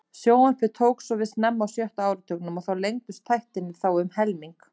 Sjónvarpið tók svo við snemma á sjötta áratugnum og lengdust þættirnir þá um helming.